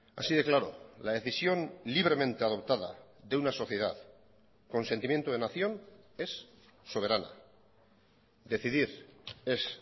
así de claro la decisión libremente adoptada de una sociedad con sentimiento de nación es soberana decidir es